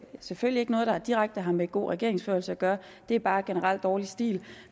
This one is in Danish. selvfølgelig ikke noget der direkte har med god regeringsførelse at gøre det er bare generelt dårlig stil